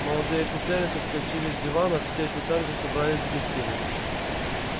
молодые офицеры соскочили с диванов все официанты собрались в гостиной